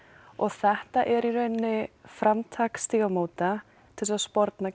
og þetta er í raun framtak Stígamóta til að sporna